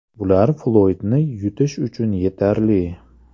Bular Floydni yutish uchun yetarli.